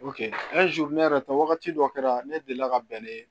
ne yɛrɛ ta wagati dɔ kɛra ne delila ka bɛn n'o ye